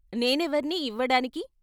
నేనెవరిని ఇవ్వడానికి?